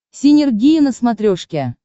синергия на смотрешке